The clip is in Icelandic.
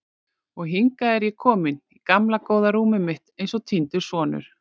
Og hingað er ég kominn, í gamla góða rúmið mitt eins og týndur sonur.